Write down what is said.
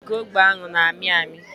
Ala okirikiri ógbè ahụ n'ami ami